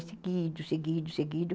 É seguido, seguido, seguido.